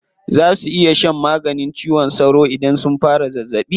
Za su iya shan maganin cizon sauro idan sun fara zazzaɓi.